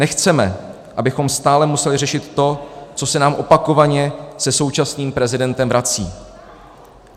Nechceme, abychom stále museli řešit to, co se nám opakovaně se současným prezidentem vrací.